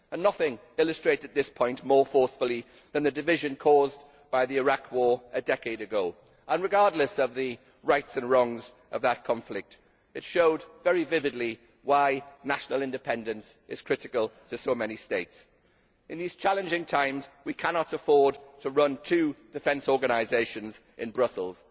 nothing illustrated this point more forcefully than the division caused by the Iraq war a decade ago. Regardless of the rights and wrongs of that conflict, it showed very vividly why national independence is critical to so many states. In these challenging times we cannot afford to run two defence organisations in Brussels.